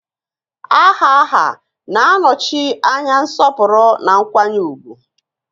Aha aha na-anọchi anya nsọpụrụ na nkwanye ùgwù